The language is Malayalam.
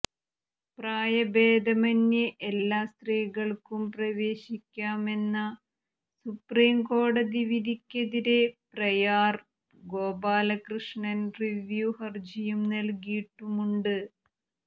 പ്രായഭേദമന്യേ എല്ലാ സ്ത്രീകള്ക്കും പ്രവേശിക്കാമെന്ന സുപ്രീംകോടതി വിധിക്കെതിരെ പ്രയാര് ഗോപാലകൃഷ്ണന് റിവ്യൂ ഹര്ജിയും നല്കിയിട്ടുമുണ്ട്